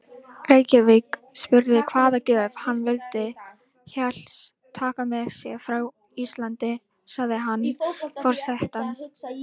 Reykjavík spurði hvaða gjöf hann vildi helst taka með sér frá Íslandi, sagði hann: Forsetann